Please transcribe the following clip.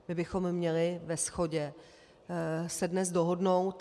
Že bychom měli ve shodě se dnes dohodnout.